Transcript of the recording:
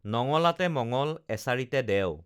নঙলাতে মঙল এছাৰিতে দেও